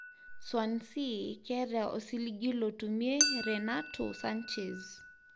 Swansea keta osiligi lotumie Renato Sanches.